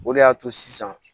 O de y'a to sisan